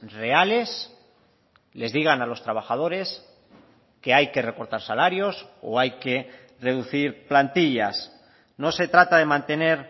reales les digan a los trabajadores que hay que recortar salarios o hay que reducir plantillas no se trata de mantener